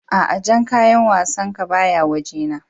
a'a Jan kayan wassan ka ba ya waje na.